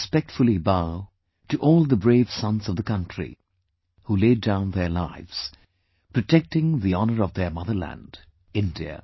I respectfully bow to all the brave sons of the country, who laid down their lives, protecting the honour of their motherland, India